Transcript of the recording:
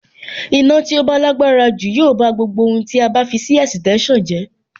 Iná tí ó bá lágbára jù yóò bá gbogbo ohun tí a bá fi sí ẹ̀sìtẹ́nsàn jẹ́.